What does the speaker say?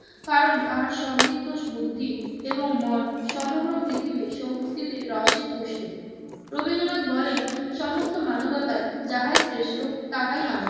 কারণ তাহার সমৃদ্ধ বুদ্ধি এবং মন সমগ্র পৃথিবীর সংস্কৃতির রসে পুষ্ট। রবীন্দ্রনাথ বলেন, সমস্ত মানবতায় যাহাই শ্রেষ্ঠ তাহাই আমার।